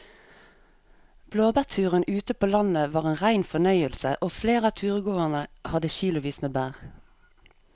Blåbærturen ute på landet var en rein fornøyelse og flere av turgåerene hadde kilosvis med bær.